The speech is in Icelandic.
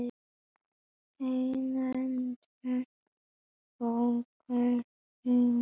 Heiðlindur, bókaðu hring í golf á þriðjudaginn.